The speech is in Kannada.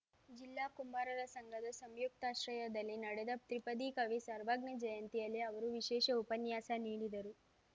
ಜಿಲ್ಲಾ ಕುಂಬಾರರ ಸಂಘದ ಸಂಯುಕ್ತಾಶ್ರಯದಲ್ಲಿ ನಡೆದ ತ್ರಿಪದಿ ಕವಿ ಸರ್ವಜ್ಞ ಜಯಂತಿಯಲ್ಲಿ ಅವರು ವಿಶೇಷ ಉಪನ್ಯಾಸ ನೀಡಿದರು